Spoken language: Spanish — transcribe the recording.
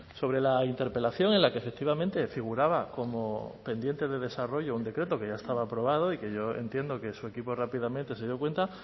sobre la interpelación en la que efectivamente figuraba como pendiente de desarrollo un decreto que ya estaba aprobado y que yo entiendo que su equipo rápidamente se dio cuenta